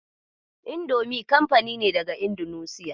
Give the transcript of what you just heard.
Indomi kanfani ne daga Indunusiya.